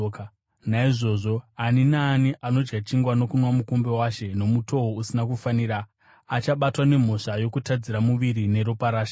Naizvozvo ani naani anodya chingwa nokunwa mukombe waShe nomutoo usina kufanira achabatwa nemhosva yokutadzira muviri neropa raShe.